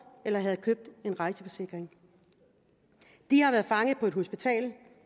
eller havde købt en rejseforsikring de har været fanget på et hospital